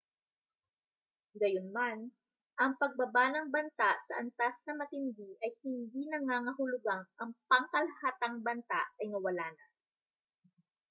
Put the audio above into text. gayunman ang pagbaba ng banta sa antas na matindi ay hindi nangangahulugang ang pangkalahatang banta ay nawala na